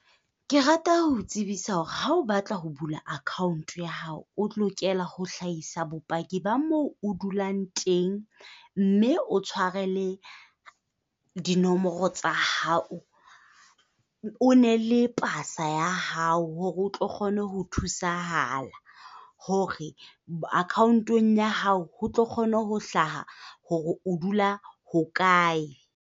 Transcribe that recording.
Ke rata ho o tsebisa hore ha o batla ho bula account ya hao, o tlokela ho hlaisa bopaki ba moo o dulang teng mme o tshware le dinomoro tsa hao. O ne le pasa ya hao hore o tlo kgone ho thusahala hore account-ong ya hao ho tlo kgone ho hlaha hore o dula ho kae.